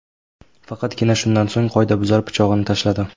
Faqatgina shundan so‘ng qoidabuzar pichog‘ini tashladi.